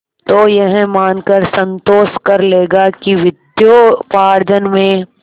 तो यह मानकर संतोष कर लेगा कि विद्योपार्जन में